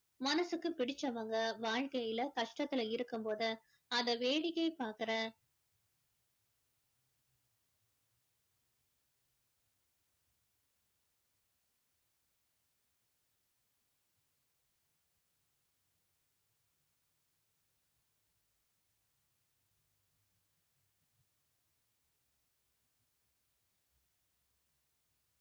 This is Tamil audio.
மனசுக்கு பிடிச்சவங்க வாழ்க்கையில கஷ்டத்தில இருக்கும் போது அதை வேடிக்கை பார்க்கிற